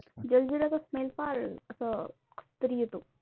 जलजिराचा smell फार असं कसतरी येतो.